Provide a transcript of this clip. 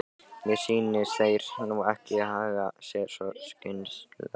Mér sýnist þeir nú ekki haga sér svo skynsamlega.